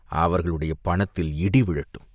அவர்களுடைய பணத்திலே இடி விழட்டும்!